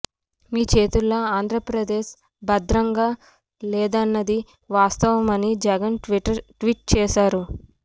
మీ చేతుల్లో ఆంధ్రప్రదేశ్ భద్రంగా లేదన్నది వాస్తవమని జగన్ ట్వీట్ చేశారు